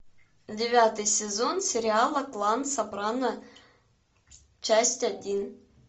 девятый сезон сериала клан сопрано часть один